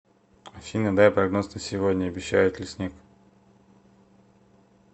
афина дай прогноз на сегодня обещают ли снег